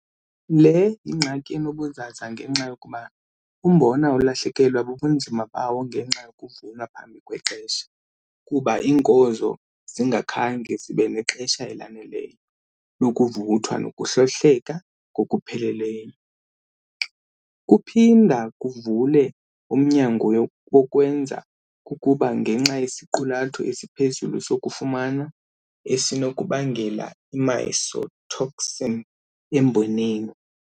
Le yingxaki enobuzaza ngenxa yokuba umbona ulahlekelwa bubunzima bawo ngenxa yokuvunwa phambi kwexesha kuba iinkozo zingakhange zibe nexesha elaneleyo lokuvuthwa nokuhlohleka ngokupheleleyo. Kuphinda kuvule umnyango wokwenzeka kokubola ngenxa yesiqulatho esiphezulu sokufuma esinokubangela ii-mycotoxin emboneni.